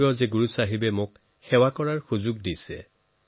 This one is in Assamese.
গুৰু চাহেবে মোৰ পৰা বহু সেৱা লাভ কৰিছে আৰু সেইবাবে মই অতি কৃতজ্ঞ